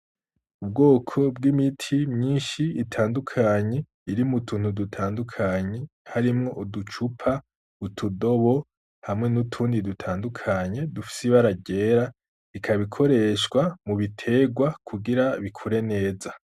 Ubwoko bw'imiti myinshi itandukanye iri mutuntu dutandukanye harimwo uducupa, utudobo hamwe nutundi dutandukanye dufise ibara ryera ikaba ikoreshwa mubitegwa kugira bikure neza.